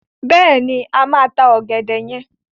Bẹ́ẹ̀ni, a máa ta ọ̀gẹ̀dẹ̀ yen.